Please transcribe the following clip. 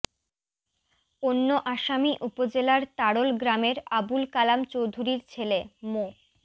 অন্য আসামি উপজেলার তাড়ল গ্রামের আবুল কালাম চৌধুরীর ছেলে মো